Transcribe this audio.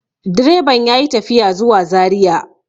direban ya yi tafiya zuwa zariya